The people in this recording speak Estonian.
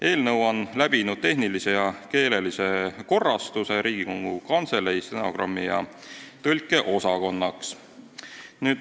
Eelnõu on läbi teinud tehnilise ja keelelise korrastuse Riigikogu Kantselei stenogrammi- ja tõlkeosakonnas.